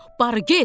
Barı get.